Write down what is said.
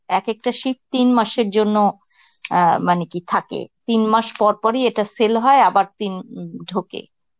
এক একটা shift তিন মাসের জন্য অ্যাঁ মানে কি থাকে. তিন মাস পর পরই এটা sell হয় আবার তিন ঢোকে.